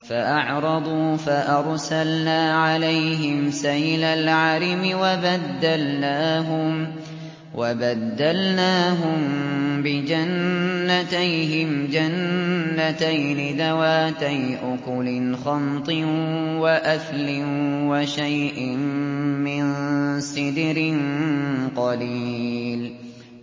فَأَعْرَضُوا فَأَرْسَلْنَا عَلَيْهِمْ سَيْلَ الْعَرِمِ وَبَدَّلْنَاهُم بِجَنَّتَيْهِمْ جَنَّتَيْنِ ذَوَاتَيْ أُكُلٍ خَمْطٍ وَأَثْلٍ وَشَيْءٍ مِّن سِدْرٍ قَلِيلٍ